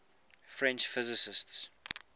french physicists